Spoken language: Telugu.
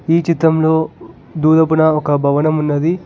ఈ చిత్రంలో దూరపున ఒక భవనం ఉన్నాది